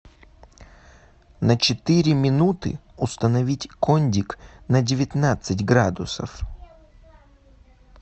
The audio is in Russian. на четыре минуты установить кондик на девятнадцать градусов